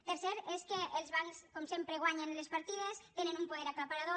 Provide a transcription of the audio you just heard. la tercera és que els bancs com sempre guanyen les partides tenen un poder aclaparador